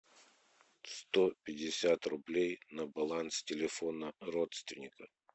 сто пятьдесят рублей на баланс телефона родственника